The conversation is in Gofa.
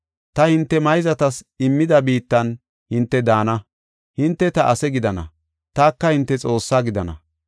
Ta hinte mayzatas immida biittan hinte daana; hinte ta ase gidana; taka hinte Xoossaa gidana.